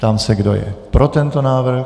Ptám se, kdo je pro tento návrh.